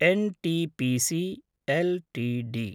NTPC LTD